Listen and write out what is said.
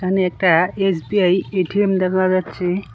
এখানে একটা SBI ATM দেখা যাচ্ছে।